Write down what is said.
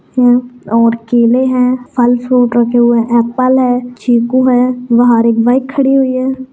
और केले हैं फल फ्रूट रखे हुए एपल है चीकू है बाहर एक बाइक खड़ी हुई है।